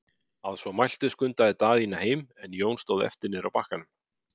Að svo mæltu skundaði Daðína heim, en Jón stóð eftir niðri á bakkanum.